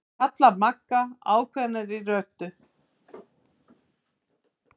kallar Magga ákveðnari en áður.